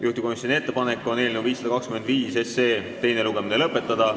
Juhtivkomisjoni ettepanek on eelnõu 525 teine lugemine lõpetada.